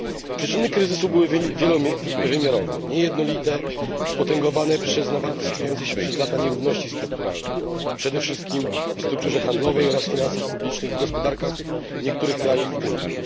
Przyczyny kryzysu były wielowymiarowe, niejednolite, spotęgowane nawarstwiającymi się przez lata nierównościami strukturalnymi, przede wszystkim w strukturze handlowej oraz w finansach publicznych w gospodarkach niektórych krajów Unii.